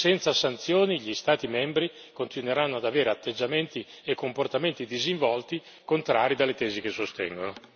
Senza sanzioni gli Stati membri continueranno ad avere atteggiamenti e comportamenti disinvolti contrari alle tesi che sostengono.